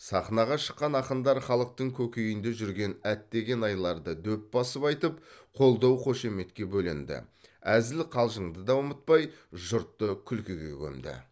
сахнаға шыққан ақындар халықтың көкейінде жүрген әттеген айларды дөп басып айтып қолдау қошеметке бөленді әзіл қалжыңды да ұмытпай жұртты күлкіге көмді